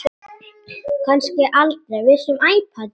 Kannski aldrei.